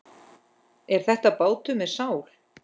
Er þetta bátur með sál?